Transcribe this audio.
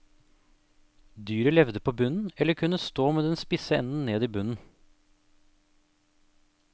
Dyret levde på bunnen, eller kunne stå med den spisse enden ned i bunnen.